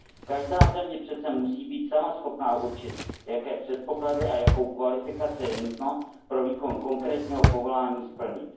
Každá země přece musí být sama schopna určit, jaké předpoklady a jakou kvalifikaci je nutno pro výkon konkrétního povolání splnit.